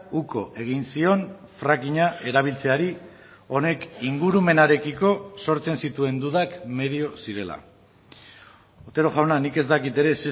uko egin zion frackinga erabiltzeari honek ingurumenarekiko sortzen zituen dudak medio zirela otero jauna nik ez dakit ere